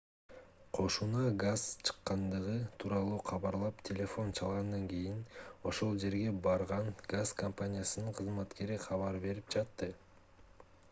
кошуна газ чыккандыгы тууралуу кабарлап телефон чалгандан кийин ошол жерге барган газ компаниясынын кызматкери кабар берип жатты